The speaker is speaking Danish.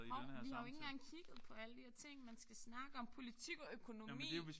Hov vi har jo ikke engang kigget på alle de her ting man skal snakke om. Politik og økonomi